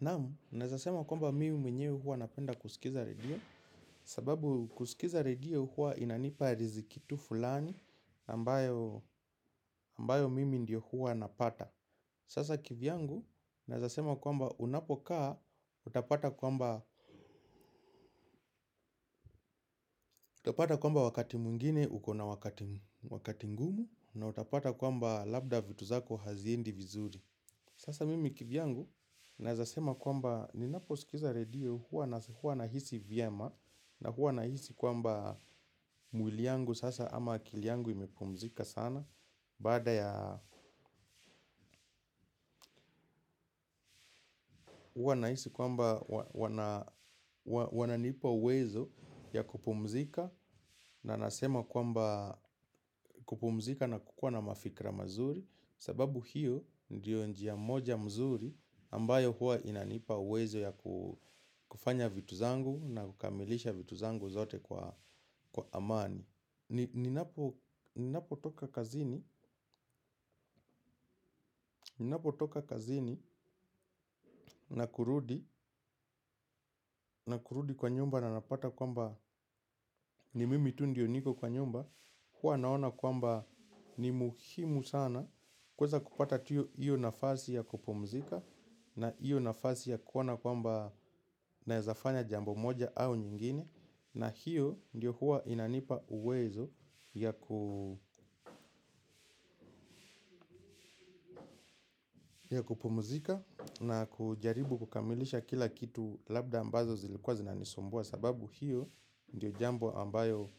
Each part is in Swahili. Naam, naweza sema kwamba mimi mwenyewe huwa napenda kusikiza redio. Sababu kusikiza redio huwa inanipa riziki tu fulani ambayo ambayo mimi ndio huwa napata. Sasa kivyangu naweza sema kwamba unapokaa utapata kwamba utapata kwamba wakati mwingine uko na wakati ngumu na utapata kwamba labda vitu zako haziendi vizuri. Sasa mimi kivyangu naweza sema kwamba ninaposikiza redio huwa na huwa nahisi vyema. Na huwa nahisi kwamba mwili yangu sasa ama akili yangu imepumzika sana. Baada ya huwa nahisi kwamba wananipa uwezo ya kupumzika. Na nasema kwamba kupumzika na kukuwa na mafikira mazuri sababu hiyo ndiyo njia moja mzuri ambayo huwa inanipa uwezo ya kufanya vitu zangu na kukamilisha vitu zangu zote kwa amani. Ninapotoka kazini ninapotoka kazini na kurudi kwa nyumba na napata kwamba ni mimi tu ndiyo niko kwa nyumba huwa naona kwamba ni muhimu sana kuweza kupata tu hiyo nafasi ya kupumzika. Na hiyo nafasi ya kuona kwamba naweza fanya jambo moja au nyingine. Na hiyo ndiyo huwa inanipa uwezo ya ya kupumuzika na kujaribu kukamilisha kila kitu labda ambazo zilikuwa zinanisumbua sababu hiyo ndiyo jambo ambayo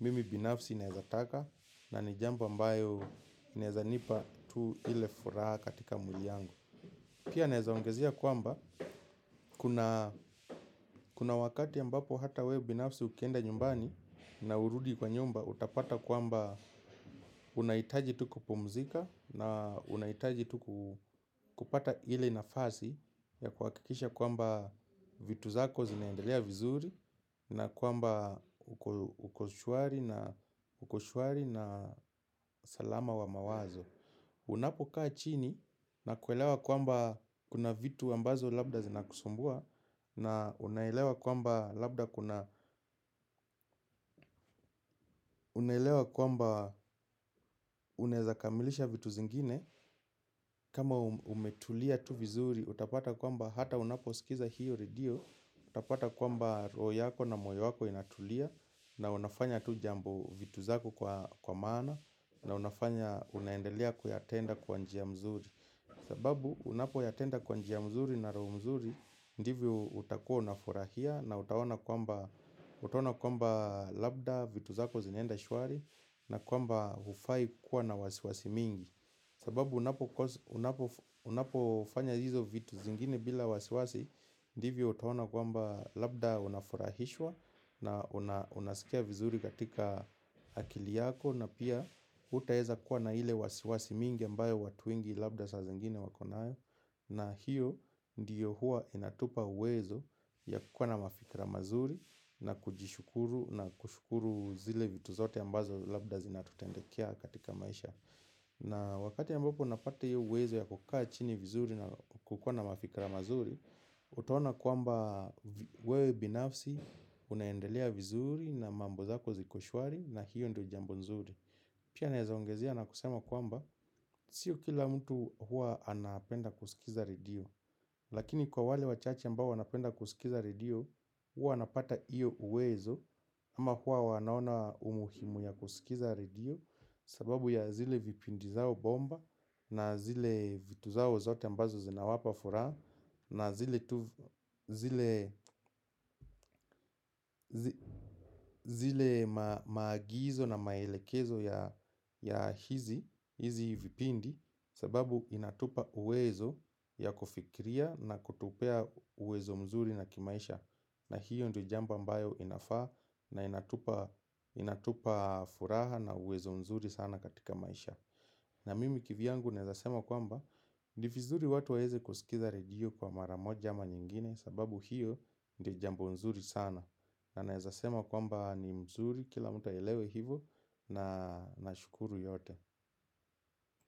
mimi binafsi naweza taka na ni jambo ambayo inaweza nipa tu ile furaha katika mwili yangu pia naweza ongezea kwamba kuna kuna wakati ambapo hata wewe binafsi ukienda nyumbani na urudi kwa nyumba, utapata kwamba unahitaji tu kupumzika na unahitaji tu kupata ile nafasi ya kuhakikisha kwamba vitu zako zinaendelea vizuri na kwamba uko shwari na uko shwari na salama wa mawazo. Unapokaa chini na kuelewa kwamba kuna vitu ambazo labda zinakusumbua na unaelewa kwamba labda kuna unaweza kamilisha vitu zingine kama umetulia tu vizuri utapata kwamba hata unaposikiza hiyo redio. Utapata kwamba roho yako na moyo wako inatulia. Na unafanya tu jambo vitu zako kwa maana. Na unafanya unaendelea kuyatenda kwa njia mzuri. Sababu unapoyatenda kwa njia mzuri na roho mzuri. Ndivyo utakuwa unafurahia na utaona kwamba utaona kwamba labda vitu zako zinaenda shwari. Na kwamba haufai kuwa na wasiwasi mingi. Sababu unapofanya hizo vitu zingine bila wasiwasi ndivyo utaona kwamba labda unafurahishwa. Na unasikia vizuri katika akili yako na pia hautaweza kuwa na ile wasiwasi mingi ambayo watu wengi labda saa zingine wako nayo. Na hiyo ndiyo huwa inatupa uwezo ya kukuwa na mafikira mazuri na kujishukuru na kushukuru zile vitu zote ambazo labda zinatutendekea katika maisha. Na wakati ambapo unapata hiyo uwezo ya kukaa chini vizuri na kukuwa na mafikira mazuri utaona kamba wewe binafsi unaendelea vizuri na mambo zako ziko shwari na hiyo ndiyo jambo nzuri pia naweza ongezea na kusema kwamba siyo kila mtu huwa anapenda kusikiza redio. Lakini kwa wale wachache ambao wanapenda kusikiza redio huwa wanapata hiyo uwezo ama huwa wanaona umuhimu ya kusikiza redio sababu ya zile vipindi zao bomba na zile vitu zao zote ambazo zinawapa furaha na zile tu zile maagizo na maelekezo ya hizi vipindi sababu inatupa uwezo ya kufikiria na kutupea uwezo mzuri na kimaisha na hiyo ndiyo jambo ambayo inafaa na inatupa furaha na uwezo mzuri sana katika maisha na mimi kivyangu naweza sema kwamba ni vizuri watu waweze kusikiza redio kwa mara moja ama nyingine sababu hiyo ndiyo jambo nzuri sana. Na naweza sema kwamba ni mzuri kila mtu aelewe hivyo na nashukuru yote.